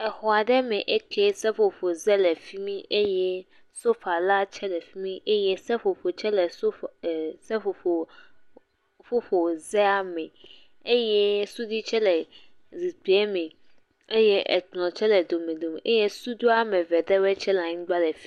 Xɔ aɖe me ekie, seƒoƒo ze tsɛ le fi mi, eye sofa la tsɛ le fi mi, eye seƒoƒo tsɛ le seƒoƒo zea me, eye suɖui tsɛ le zikpuie me, ekplɔ tsɛ le domedome, eye suɖui ame eve ɖewɔe tsɛ anyigba le fi mi.